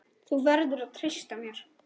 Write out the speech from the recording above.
Þú verður að treysta mér